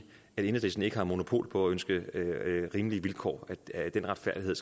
at enhedslisten ikke har monopol på at ønske rimelige vilkår den retfærdighed